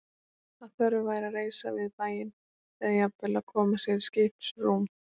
Að þörf væri að reisa við bæinn, eða jafnvel að koma sér í skipsrúm.